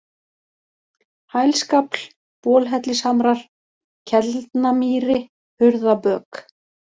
Hælskafl, Bolhellishamrar, Kelnamýri, Hurðabök